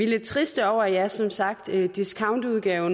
lidt triste over at det som sagt er en discountudgave